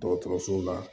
Dɔgɔtɔrɔso la